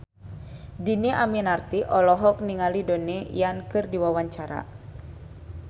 Dhini Aminarti olohok ningali Donnie Yan keur diwawancara